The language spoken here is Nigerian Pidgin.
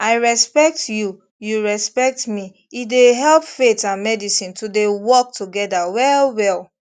i respect you you respect me e dey help faith and medicine to dey work together well well